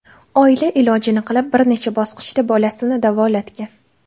Oila ilojini qilib bir necha bosqichda bolasini davolatgan.